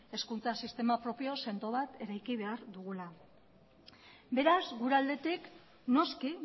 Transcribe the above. hezkuntza sistema propio sendo bat eraiki behar dugula beraz gure aldetik noski